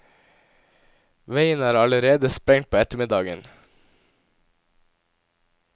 Veien er allerede sprengt på ettermiddagen.